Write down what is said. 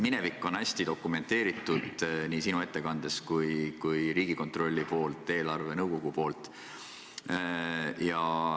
Minevik on hästi dokumenteeritud nii sinu ettekandes kui ka Riigikontrolli ja eelarvenõukogu poolt.